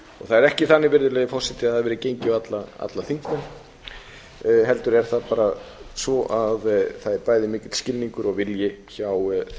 það er ekki þannig virðulegi forseti að það hafi verið gengi á alla þingmenn heldur er það bara svo að það er bæði mikill skilningur og vilji hjá þeim